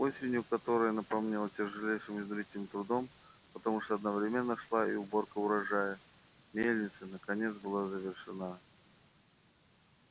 осенью которая напомнилась тяжелейшим изнурительным трудом потому что одновременно шла и уборка урожая мельница наконец была завершена